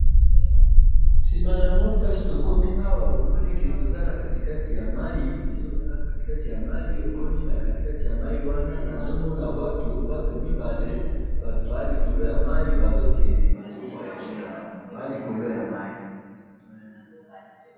sima nango place tokomi awa, bomoni que toza nakati kati ya mayi, tozotala kati kati ya mayi, omoni nakati kati ya mayi wana, nazomona batu, batu mibale, batu baza likolo ya mayi, bazokende bazo voyage na bango, baza likolo ya mayi